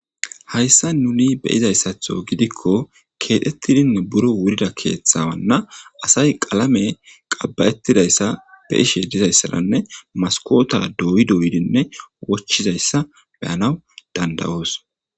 Hayssa nuni beyizayssatho gidikko keedhettidine buro wurida keeththawanna asay qalame qabba'ettidayssa be ishe dizayssalanne maskota doyidoydinne wochizayssa beyanaw dandawoos.